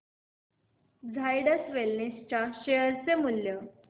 Zydus wellness च्या share चे मूल्य